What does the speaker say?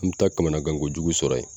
An be taa kamanagan kojugu sɔrɔ yen